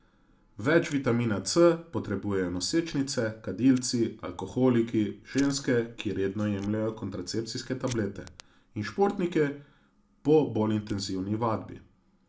Več vitamina C potrebujejo nosečnice, kadilci, alkoholiki, ženske, ki redno jemljejo kontracepcijske tablete, in športniki po bolj intenzivni vadbi.